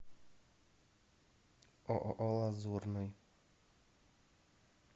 ооо лазурный